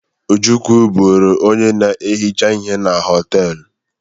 Ojukwu bụrụ onye na-ehicha ihe na họtelụ.